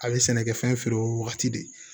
A bɛ sɛnɛkɛfɛn feere o wagati de